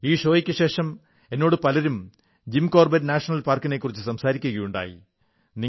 ഈ ഷോയ്ക്കുശേഷം എന്നോട് പലരും ജിം കോർബറ്റ് നാഷണൽ പാർക്കിനെക്കുറിച്ച് സംസാരിക്കയുണ്ടായി